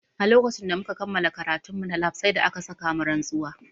A lokacin da muka kammala karatun mu na lab sai da aka sa mu rantsuwa